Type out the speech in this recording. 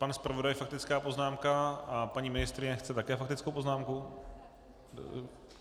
Pan zpravodaj faktická poznámka a paní ministryně chce také faktickou poznámku?